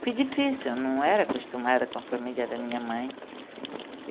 Foi difícil, eu não era acostumada com a família da minha mãe.